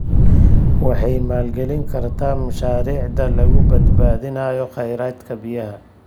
Waxay maalgelin kartaa mashaariicda lagu badbaadinayo kheyraadka biyaha.